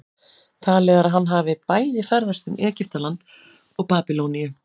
talið er að hann hafi bæði ferðast um egyptaland og babýloníu